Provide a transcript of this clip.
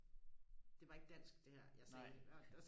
det var ikke dansk det her jeg sagde